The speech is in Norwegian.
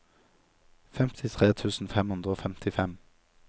femtitre tusen fem hundre og femtifem